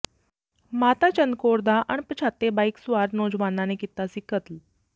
ਮਾਤਾ ਚੰਦ ਕੌਰ ਦਾ ਅਣਪਛਾਤੇ ਬਾਈਕ ਸਵਾਰ ਨੌਜਵਾਨਾਂ ਨੇ ਕੀਤਾ ਸੀ ਕਤਲ